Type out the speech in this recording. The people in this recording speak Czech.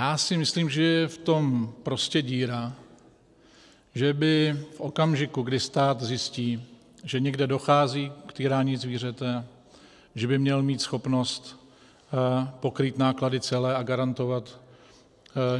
Já si myslím, že je v tom prostě díra, že by v okamžiku, kdy stát zjistí, že někde dochází k týrání zvířete, že by měl mít schopnost pokrýt náklady celé a garantovat,